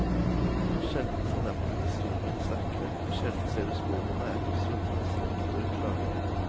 Sjelden fornemmer du historien sterkere, sjelden ser du sporene etter svunne slekter klarere.